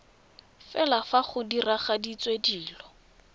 fela fa go diragaditswe dilo